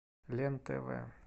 лен тв